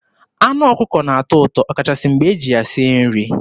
Anụ ọkụkọ na-atọ ụtọ ọkachasị mgbe e ji ya sie nri.